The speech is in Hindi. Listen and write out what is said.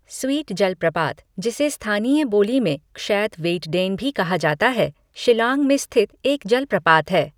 स्वीट जलप्रपात, जिसे स्थानीय बोली में क्षैद वेइटडेन भी कहा जाता है, शिलांग में स्थित एक जलप्रपात है।